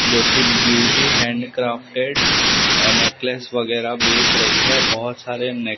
जो कि beauty handcrafted necklace वगैरह बेच रही है बहुत सारे ने--